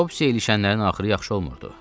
Topsiyə ilişənlərin axırı yaxşı olmurdu.